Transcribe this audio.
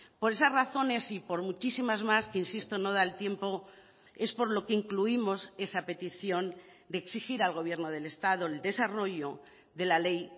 por esas razones y por muchísimas más que insisto no da el tiempo es por lo que incluimos esa petición de exigir al gobierno del estado el desarrollo de la ley